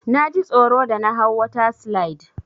Naji tsoro da na hau water slide.